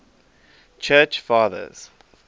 church fathers